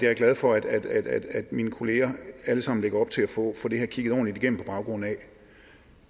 er glad for at mine kolleger alle sammen lægger op til at få det her kigget ordentligt igennem på baggrund af